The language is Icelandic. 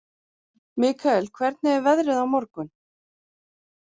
Mikael, hvernig er veðrið á morgun?